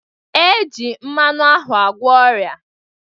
E ji mmanụ ahụ agwọ ọrịa